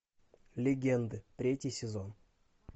легенды третий сезон